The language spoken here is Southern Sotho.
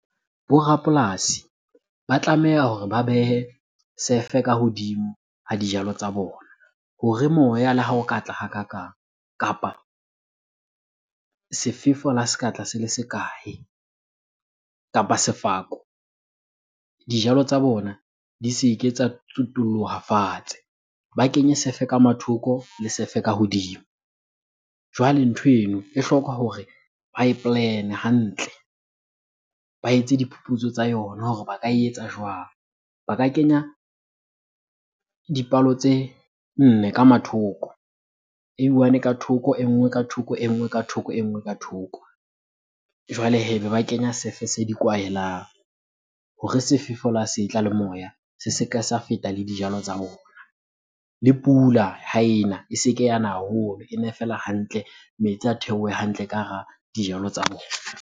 Bo rapolasi ba tlameha hore ba behe sefe ka hodimo ha dijalo tsa bona hore moya le ha o ka tla hakakang kapa sefefo la se ka tla se le se kae? Kapa sefako, dijalo tsa bona di se ke tsa tsutulloha fatshe. Ba kenye sefe ka mathoko le sefe ka hodimo. Jwale ntho eno e hloka hore ba e plan-e hantle, ba etse diphuputso tsa yona hore ba ka e etsa jwang? Ba ka kenya dipalo tse nne ka mathoko. E one ka thoko, e nngwe ka thoko, e nngwe ka thoko, e nngwe ka thoko. Jwale hee, be ba kenya sefe se di kwahelang hore sefefo la se tla le moya se se ke sa feta le dijalo tsa bona. Le pula ha ena e se ke yana haholo, ene feela hantle. Metsi a theohe hantle ka hara dijalo tsa bona.